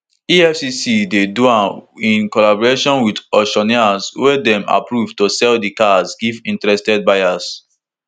efcc dey do am in collaboration wit auctioneers wey dem approve to sell di cars give interested buyers